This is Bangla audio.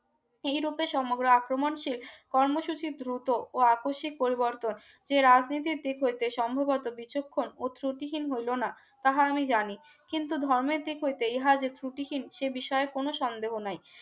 এইরূপে সমগ্র আক্রমণশীল কর্ণসূচি দ্রুত ও আকস্মিক পরিবর্তন এ রাজনীতির দিক হইতে সম্ভবত বিচক্ষণও ত্রুটিহীন হইল না তাহা আমি জানি কিন্তু ধর্মের দিক হইতে ইহা ত্রুটিহীন সে বিষয়ে কোন সন্দেহ নেই